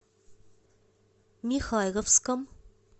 михайловском